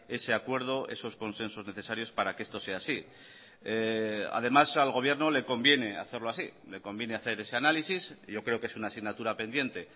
ese acuerdo esos consensos necesarios para que esto sea así además al gobierno le conviene hacerlo así le conviene hacer ese análisis yo creo que es una asignatura pendiente